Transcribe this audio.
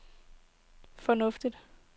fornuftigt